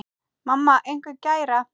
Mamma einhver gæra?